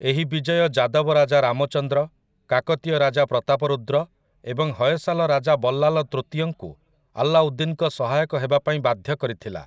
ଏହି ବିଜୟ ଯାଦବ ରାଜା ରାମଚନ୍ଦ୍ର, କାକତୀୟ ରାଜା ପ୍ରତାପରୁଦ୍ର ଏବଂ ହୟସାଲ ରାଜା ବଲ୍ଲାଲ ତୃତୀୟଙ୍କୁ ଆଲ୍ଲାଉଦ୍ଦିନ୍‌ଙ୍କ ସହାୟକ ହେବାପାଇଁ ବାଧ୍ୟ କରିଥିଲା ।